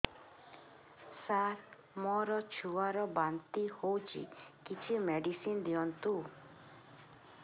ସାର ମୋର ଛୁଆ ର ବାନ୍ତି ହଉଚି କିଛି ମେଡିସିନ ଦିଅନ୍ତୁ